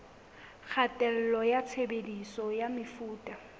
kgatello ya tshebediso ya mefuta